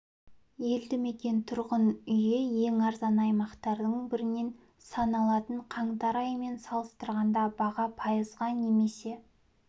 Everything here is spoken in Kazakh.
елді мекен тұрғын үйі ең арзан аймақтардың бірінен саналатын қаңтар айымен салыстырғанда баға пайызға немесе